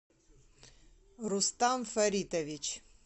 рустам фаритоввич